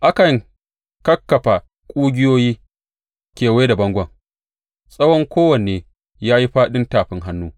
Aka kakkafa ƙugiyoyi kewaye a bangon, tsawon kowanne ya yi fāɗin tafin hannu.